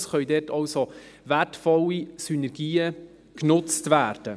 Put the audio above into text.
Es können dort also wertvolle Synergien genutzt werden.